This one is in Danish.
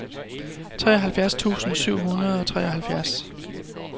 treoghalvfjerds tusind syv hundrede og treoghalvfjerds